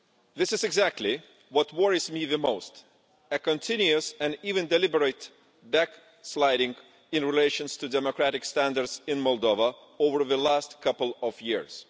This is exactly what worries me the most a continuous and even deliberate back-sliding in relation to democratic standards in Moldova over the last couple of years.